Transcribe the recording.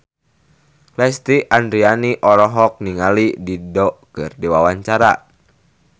Lesti Andryani olohok ningali Dido keur diwawancara